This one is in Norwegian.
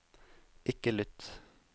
ikke lytt